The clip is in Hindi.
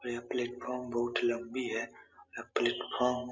और यह प्लेटफोर्म बहुत लम्बी है। यह प्लेटफार्म --